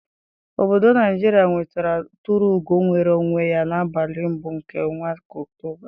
Ọbọdọ Naijiria nwetara tụrụ ugo nnwere onwe ya n'abalị mbụ nke ọnwa Ọktoba.